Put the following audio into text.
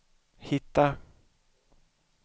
hitta